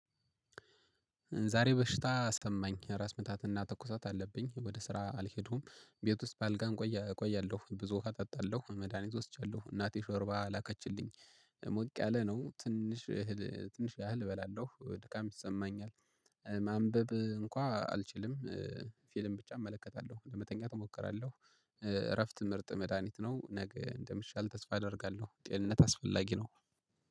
ዛሬ በሽታ ተሰማኝ ራስ ምታትና ትኩሳት አለብኝ ወደ ስራ አልሄድኩም ቤት ውስጥ በአልጋ እቆያለሁ። ብዙ ውሃ እጠጣለሁ መድሃኒት ወስጃለሁ። እናቴ ሾርባ ላከችልኝ ሞቅ ያለ ነው። ትንሽ ያህል እበላለሁ ድካም ይሰማኛል። ማንበብ እንኳን አልችልም። ፊልም ብቻ እመለከታለሁ ለመተኛት እሞክራለሁ። እረፍት ምርጥ መድሃኒት ነው። ነገ እንደምሻለኝ ተስፋ አደርጋለሁ። ጤንነት አስፈላጊ ነው።